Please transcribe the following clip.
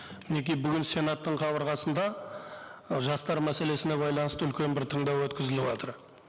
мінеки бүгін сенаттың қабырғасында жастар мәселесіне байланысты үлкен бір тыңдау өткізіліватыр